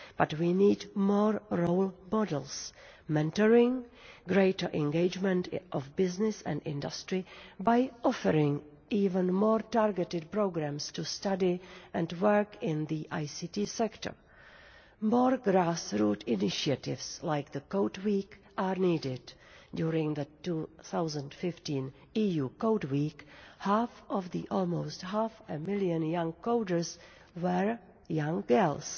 But we need more role models, mentoring, greater engagement of business and industry by offering even more targeted programmes to study and work in the ICT sector. More grass root initiatives like the Code Week are needed during the 2015 EU Code Week half of the almost half a million young coders were young girls!